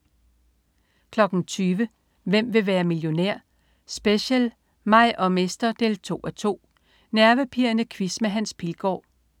20.00 Hvem vil være millionær? Special: mig og mester 2:2. Nervepirrende quiz med Hans Pilgaard